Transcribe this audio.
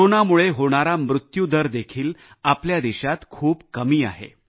कोरोनामुळे होणारा मृत्यू दर देखील आपल्या देशात खूप कमी आहे